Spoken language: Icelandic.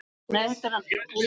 Hann heitir Árni.